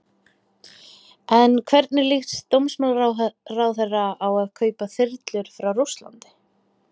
En hvernig líst dómsmálaráðherra á að kaupa þyrlur frá Rússlandi?